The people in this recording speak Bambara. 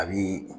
A bi